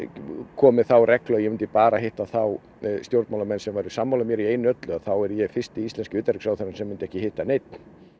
koma með þá reglu að ég mundi bara hitta þá stjórnarmálamenn sem eru sammála mér í einu og öllu þá væri ég fyrsti íslenski utanríkisráðherrann sem mundi ekki hitta neinn